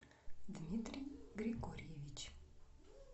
дмитрий григорьевич